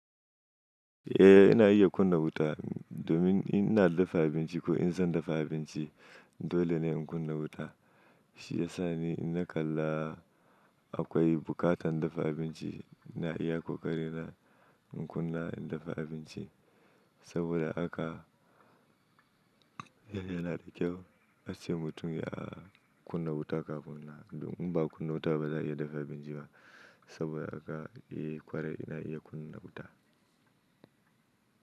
Eh, ina iya kunna wuta, domin in ina dafa abinci ko in zan dafa abinci dole ne in kunna wuta. Shi ya sa ni in na kalla akwai buƙatar dafa abinci, ina iya ƙoƙarin na in kunna in dafa abinci saboda haka, yana da kyau, ace mutum ya kunna wuta kafin na, don in ba kunna wuta ba za'a iya dafa abinci ba, saboda haka, eh kwarai ina iya kunna wuta.